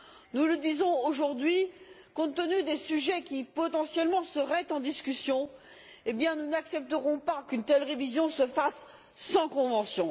Nous affirmons aujourd'hui, compte tenu des sujets qui seraient potentiellement en discussion, que nous n'accepterons pas qu'une telle révision se fasse sans convention.